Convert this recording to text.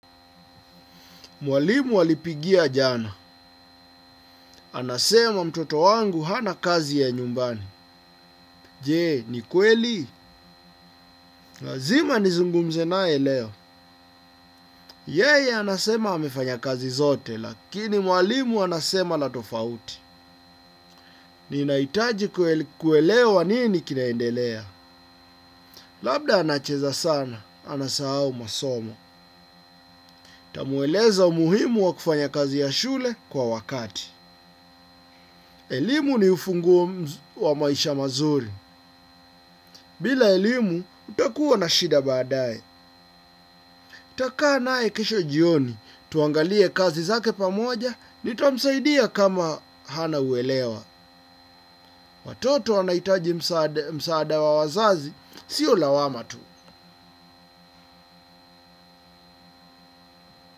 Mwalimu walipigia jana. Anasema mtoto wangu hana kazi ya nyumbani. Jee, ni kweli? Lazima nizungumze naye leo. Yeye, anasema amefanya kazi zote, lakini mwalimu anasema la tofauti. Ninahitaji kuelewa nini kinaendelea. Labda anacheza sana, anasahau masomo. Nitamweleza umuhimu wa kufanya kazi ya shule kwa wakati. Elimu ni ufunguo wa maisha mazuri. Bila elimu, utakuwa na shida baadaye. Nitakaa naye kesho jioni, tuangalie kazi zake pamoja, nitamsaidia kama hana uelewa. Watoto wanahitaji msaada wa wazazi, sio lawama tu.